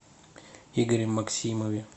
игоре максимове